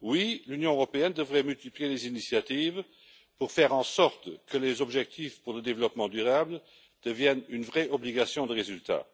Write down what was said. Oui, l'Union européenne devrait multiplier les initiatives pour faire en sorte que les objectifs pour le développement durable soient assortis d'une vraie obligation de résultat.